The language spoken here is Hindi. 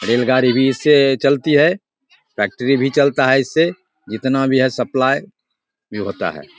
रेलगाड़ी भी इससे चलती है। फैक्ट्री भी चलता है इससे जितना भी है सप्लाई भी होता है।